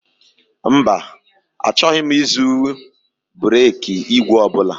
Mba, achọghị m ịzụ bereki ìgwè ọ bụla